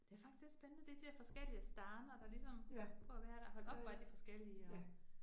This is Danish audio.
Det er faktisk lidt spændende, det de der forskellige Staner, der ligesom for at være der. Hold op, hvor er de forskellige og